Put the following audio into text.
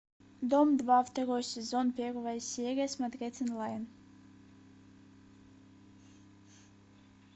дом два второй сезон первая серия смотреть онлайн